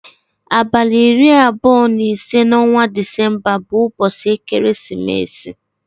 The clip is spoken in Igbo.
Abalị iri abụọ na ise n'ọnwa December bụ ụbọchị ekeresimesi